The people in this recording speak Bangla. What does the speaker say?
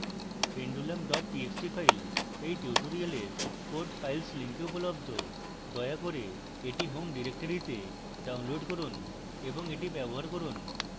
pendulum txt file এই tutorial code files link উপলব্ধ